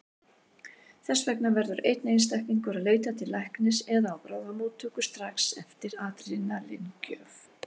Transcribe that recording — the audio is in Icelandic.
Þess vegna verður einstaklingur að leita til læknis eða á bráðamóttöku strax eftir adrenalín-gjöf.